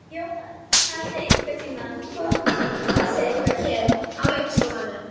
Jóhann: Hafið þið einhvern tímann kosið eitthvað hér á leikskólanum?